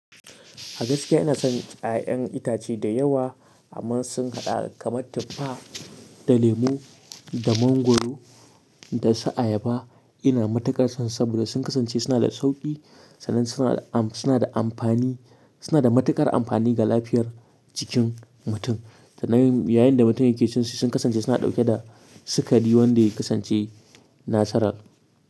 A gaskiya ina son 'ya'yan itace dayawa amma sun haɗa kamar tuffa da lemo da mangwaro dasu ayaba. Ina matukar son su saboda sun kasance suna da sauki sannan suna da amfani, suna da matuƙar amfani ga lafiyar jikin mutum. Sannan yayinda mutum yake cinsu sun kasance suna dauke da sukari wanda ya kasance natural.